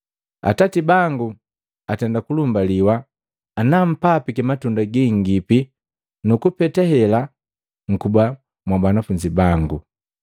Atati bangu atenda kulumbaliwa ana mpapiki matunda gingipi nukupete hela nkuba mwa banafunzi bangu.